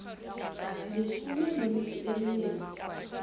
leshome le metso e mmedi